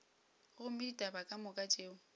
gomme ditaba ka moka tšeo